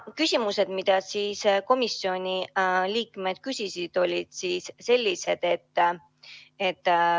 Küsimused, mida komisjoni liikmed küsisid, olid sellised.